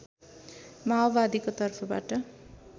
माओवादीको तर्फबाट